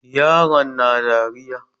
Yaron na dariya.